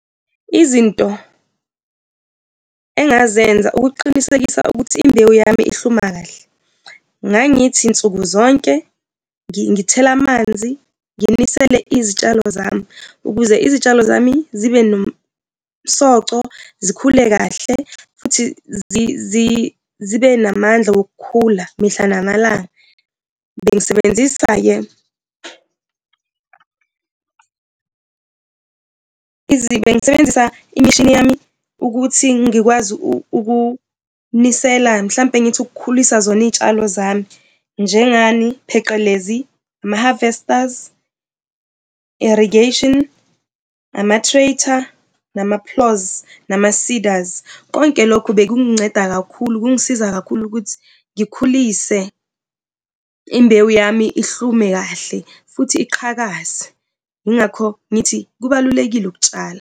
Izinto engazenza ukuqinisekisa ukuthi imbewu yam ihluma kahle, ngangithi nsuku zonke, ngithele amanzi, nginisile izitshalo zami ukuze itshalo zami zibe nosomco zikhule kahle futhi zibe namandla okukhula mihla namalanga. Bengisebenzisa-ke bengisebenzisa imishini yami ukuthi ngikwazi ukunisela mhlawumbe ngithi ukhulisa zona iy'tshalo zami. Njengani? Pheqelezi ama-harvesters, irrigation, ama-traitor, nama-ploughs, nama-seeders. Konke lokhu bekunginceda kakhulu, kungisiza kakhulu ukuthi ngikhulise imbewu yami ihlume kahle futhi iqhakaze. Yingakho ngithi kubalulekile ukutshala.